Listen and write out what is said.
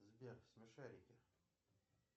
сбер смешарики